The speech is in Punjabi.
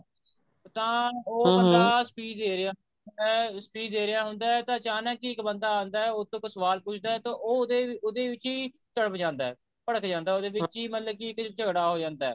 ਤਾਂ ਉਹ ਬੰਦਾ speech ਦੇ ਰਿਹਾ speech ਦੇ ਰਿਹਾ ਹੁੰਦਾ ਤਾਂ ਅਚਾਨਕ ਹੀ ਇੱਕ ਬੰਦਾ ਆਉਂਦਾ ਉਹ ਤੋਂ ਇੱਕ ਸਵਾਲ ਪੁੱਛਦਾ ਤਾਂ ਉਹ ਉਹਦੇ ਵਿੱਚ ਹੀ ਭੜਕ ਜਾਂਦਾ ਉਹਦੇ ਵਿੱਚ ਹੀ ਮਤਲਬ ਕੀ ਝਗੜਾ ਹੋ ਜਾਂਦਾ